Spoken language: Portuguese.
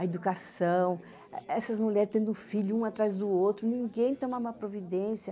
A educação, essas mulheres tendo um filho um atrás do outro, ninguém toma uma providência.